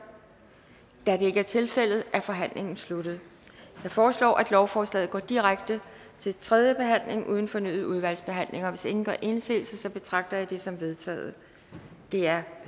da det ikke er tilfældet er forhandlingen sluttet jeg foreslår at lovforslaget går direkte til tredje behandling uden fornyet udvalgsbehandling hvis ingen gør indsigelse betragter jeg dette som vedtaget det er